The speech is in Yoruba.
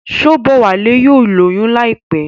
Shobowale yóò lóyún láìpé.